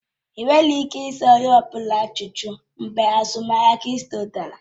Ị nweghị ike ịza onye ọ bụla ajụjụ mgbe azụmahịa krịpto dara